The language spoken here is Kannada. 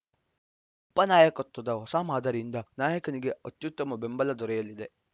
ಉಪನಾಯಕತ್ವದ ಹೊಸ ಮಾದರಿಯಿಂದ ನಾಯಕನಿಗೆ ಅತ್ಯುತ್ತಮ ಬೆಂಬಲ ದೊರೆಯಲಿದೆ